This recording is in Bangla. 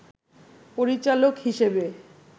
পরিচালক হিসেবে